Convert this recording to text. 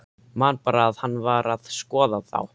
Man bara að hann var að skoða þá.